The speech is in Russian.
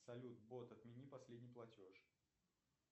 салют бот отмени последний платеж